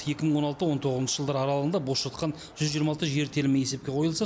екі мың он алты он тоғызыншы жылдар аралығында бос жатқан жүз жиырма алты жер телімі есепке қойылса